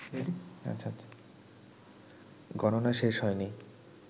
গণনা শেষ হয়নি